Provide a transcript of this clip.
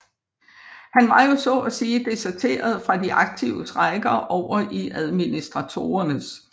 Han var jo så at sige deserteret fra de aktives rækker over i administratorernes